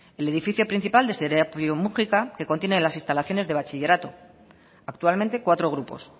el edificio principal de serapio mugika que contiene las instalaciones de bachillerato actualmente cuatro grupos